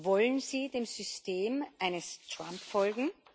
Wollen Sie dem System eines Trump folgen?